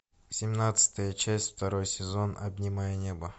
семнадцатая часть второй сезон обнимая небо